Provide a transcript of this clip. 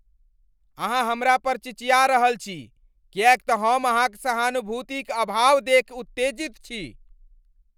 हम अहाँ पर चिचिया रहल छी किएक तँ हम अहाँक सहानुभूतिक अभाव देखि उत्तेजित छी।